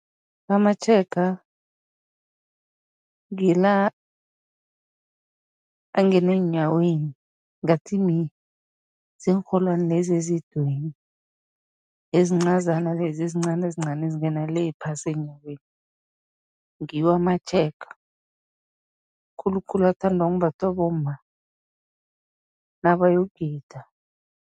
Amatjhega ngila angene eenyaweni, ngathi ziinrholwani lezi ezidweyini, ezincazana lezi ezincani ezincani, ezingena le phasi eenyaweni, ngiwo amatjhega. Khulukhulu athanda ukumbathwa bomma nabayogida.